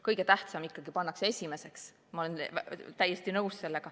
Kõige tähtsam pannakse ikka esimeseks ja ma olen sellega täiesti nõus.